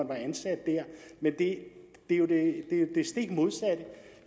var ansat der men det er jo det stik modsatte